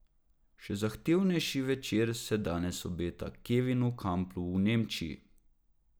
Še zahtevnejši večer se danes obeta Kevinu Kamplu v Nemčiji.